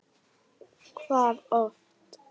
Hvað oft?